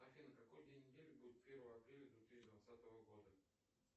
афина какой день недели будет первое апреля две тысячи двадцатого года